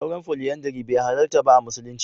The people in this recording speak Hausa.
Auren Foliyandari bai halarta ba a musulunci.